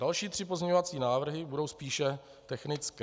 Další tři pozměňovací návrhy budou spíše technické.